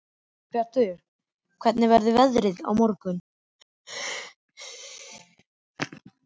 Guðbjartur, hvernig verður veðrið á morgun?